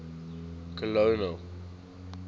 colonel